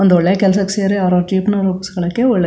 ಒಂದು ಒಳ್ಳೆ ಕೆಲಸಕೆ ಸೇರಿ ಅವ್ರ ಅವ್ರ ಜೀವ್ನ ರೂಪಿಸ್ಕೊಳ್ಳಕ್ಕೆ--